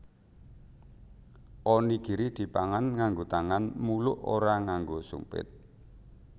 Onigiri dipangan nganggo tangan muluk ora nganggo sumpit